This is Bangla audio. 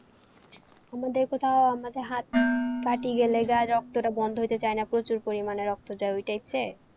আমাদের কোথাও আমাদের হাত কাটি গেলে গায়ে রক্তটা বন্ধ হতে চায় না প্রচুর পরিমানে রক্ত যায় ওইটাই হচ্ছে?